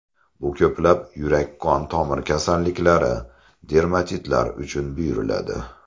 Bu ko‘plab yurak-qon tomir kasalliklari, dermatitlar uchun buyuriladi.